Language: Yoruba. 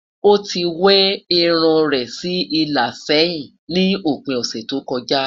o tí we irún rè sí ìlà sẹyìn ní òpin ọsẹ tó kojá